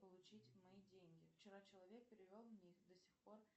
получить мои деньги вчера человек перевел мне их до сих пор